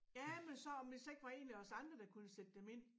Ja men så om der så ikke var en af os andre der kunne sætte dem ind